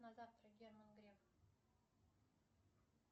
на завтра герман греф